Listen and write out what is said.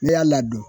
N'i y'a ladon